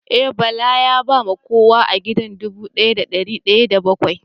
Eh, Bala ya ba ma kowa a gida dubu daya da dari daya da bakwai